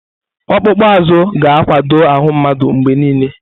Ọkpụkpụ azụ ga-akwado ahụ mmadụ mgbe niile.